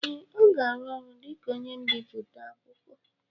ee, ọ ga-arụ ọrụ dị ka onye mbiputa akwụkwọ